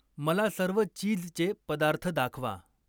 मला सर्व चीजचे पदार्थ दाखवा.